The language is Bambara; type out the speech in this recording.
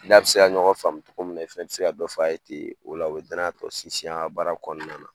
I n'a bi se ka ɲɔgɔn faamu cogo min na i fɛnɛ bi se ka dɔ fɔ a ye ten o la o bɛ danaya tɔ sinsin a ka baara kɔnɔna na.